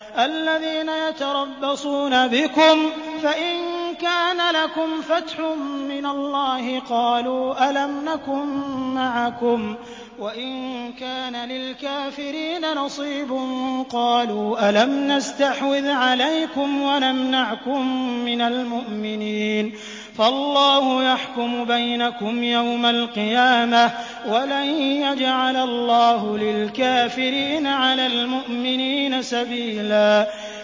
الَّذِينَ يَتَرَبَّصُونَ بِكُمْ فَإِن كَانَ لَكُمْ فَتْحٌ مِّنَ اللَّهِ قَالُوا أَلَمْ نَكُن مَّعَكُمْ وَإِن كَانَ لِلْكَافِرِينَ نَصِيبٌ قَالُوا أَلَمْ نَسْتَحْوِذْ عَلَيْكُمْ وَنَمْنَعْكُم مِّنَ الْمُؤْمِنِينَ ۚ فَاللَّهُ يَحْكُمُ بَيْنَكُمْ يَوْمَ الْقِيَامَةِ ۗ وَلَن يَجْعَلَ اللَّهُ لِلْكَافِرِينَ عَلَى الْمُؤْمِنِينَ سَبِيلًا